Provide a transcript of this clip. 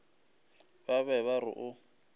ba be ba re o